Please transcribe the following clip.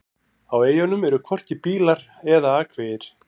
Á eyjunum eru hvorki bílar eða akvegir.